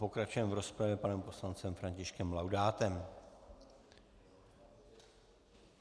Pokračujeme v rozpravě panem poslancem Františkem Laudátem.